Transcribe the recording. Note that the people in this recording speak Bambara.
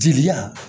Jeliya